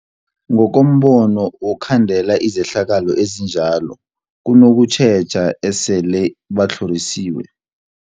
Ngokombono wokhandela izehlakalo ezinjalo kunokutjheja esele batlhorisiwe.